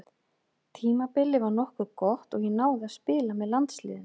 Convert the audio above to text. Tímabilið var nokkuð gott og ég náði að spila með landsliðinu.